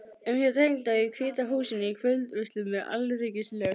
um hjá tengdó í Hvíta húsinu, í kvöldveislum með alríkislög